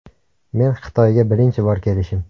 Men Xitoyga birinchi bor kelishim.